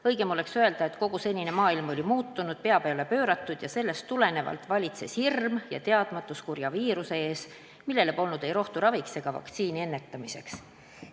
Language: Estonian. Õigem oleks öelda, et kogu senine maailm oli muutunud, pea peale pööratud, ja sellest tulenevalt valitses hirm ja teadmatus kurja viiruse ees, millele polnud ei rohtu raviks ega vaktsiini selle ennetamiseks.